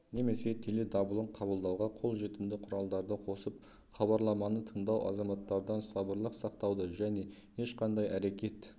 немесе теледабылын қабылдауға қол жетімді құралдарды қосып хабарламаны тыңдау азаматтардан сабырлық сақтауды және ешқандай әрекет